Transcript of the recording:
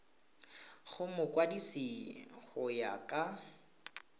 go mokwadise go ya ka